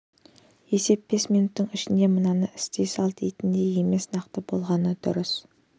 есеп бес минуттың ішінде мынаны істей сал дейтіндей емес нақты болғаны дұрыс